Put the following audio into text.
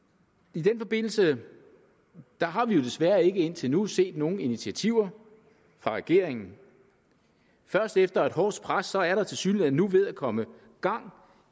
i den forbindelse har vi jo desværre ikke indtil nu set nogen initiativer fra regeringen først efter et hårdt pres er der tilsyneladende nu ved at komme gang